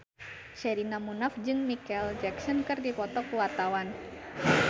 Sherina Munaf jeung Micheal Jackson keur dipoto ku wartawan